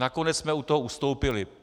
Nakonec jsme od toho ustoupili.